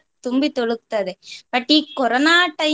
ತುಂಬಿ ತುಳುಕ್ತದೆ. but ಈ ಕೊರೋನ time